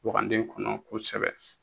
Waganden kɔnɔ kosɛbɛ